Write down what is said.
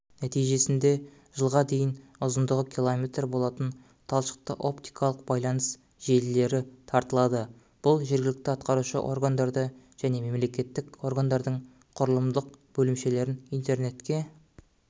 нәтижесінде жылға дейін ұзындығы км болатын талшықты-оптикалық байланыс желілері тартылады бұл жергілікті атқарушы органдарды және мемлекеттік органдардың құрылымдық бөлімшелерін интернетке